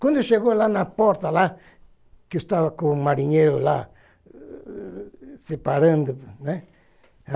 Quando chegou lá na porta lá, que estava com o marinheiro lá, separando, né?